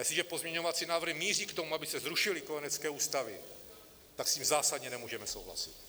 Jestliže pozměňovací návrhy míří k tomu, aby se zrušily kojenecké ústavy, tak s tím zásadně nemůžeme souhlasit!